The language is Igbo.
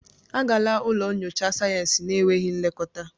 Agala ụlọ nyocha sayensị na-enweghị nlekọta!